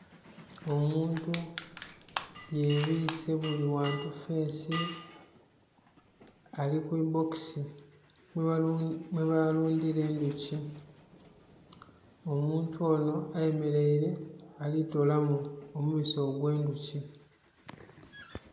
Omuntu yebwiise buli wantu feesi ali kubibbokisi mwebalundhira endhuki omuntu ono ayemeraire alitolamu omubisi ogw'endhuki.